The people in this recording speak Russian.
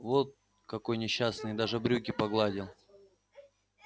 вон какой несчастный и даже брюки погладил